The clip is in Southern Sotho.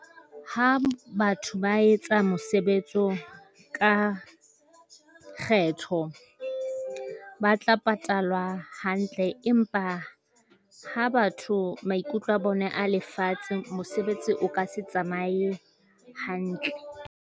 Ha batho ba etsa mosebetsi oo ka kgetho, ba tla patalwa hantle. Empa ha batho maikutlo a bona a lefatshe, mosebetsi o ka se tsamaye hantle.